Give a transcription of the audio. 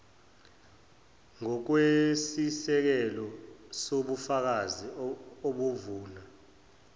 ngokwesisekelo sobufakazi obuvuna